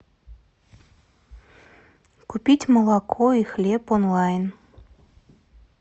купить молоко и хлеб онлайн